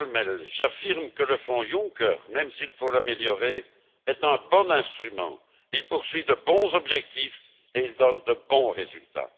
Kölmel, j'affirme que le Fonds Juncker, même s'il faut l'améliorer, est un bon instrument. Il poursuit de bons objectifs et il donne de bons résultats.